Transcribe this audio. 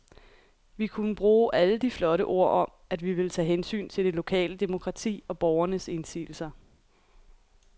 Vi kunne bruge alle de flotte ord om, at vi ville tage hensyn til det lokale demokrati og borgernes indsigelser.